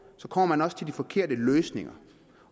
kommer man også med de forkerte løsninger